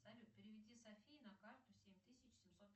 салют переведи софии на карту семь тысяч семьсот